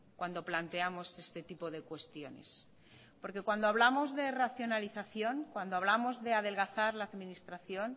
cuando planteamos este tipo de cuestiones porque cuando hablamos de racionalización cuando hablamos de adelgazar la administración